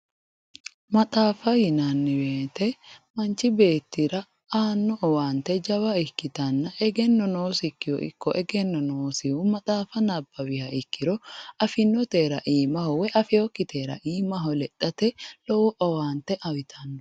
maxaafa yinanni woyiite manch beettira aano owaante jawa ikkitanno egenno nosikihura ikko egenno noosihu maxaafa nabawiha ikkiro afinnotera iimaho woy afeyookitera iimaho lexxate lowo owaante uyiitanno.